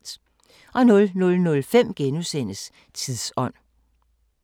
00:05: Tidsånd *